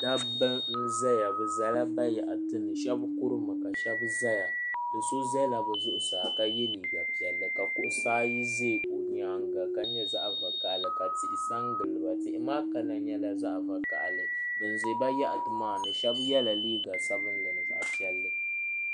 Dabba n ʒɛya bi ʒɛla bayaɣati ni shab kurimi ka shab ʒɛya do so ʒɛla bi zuɣusaa ka yɛ liiga piɛlli ka kuɣusi ayi ʒɛ o nyaanga ka nyɛ zaɣ vakaɣali ka tihi sa n giliba tihi maa kala nyɛla zaɣ vakaɣali bi ʒɛ bayaɣati maa ni shab yɛla liiga sabinli ni zaɣ piɛlli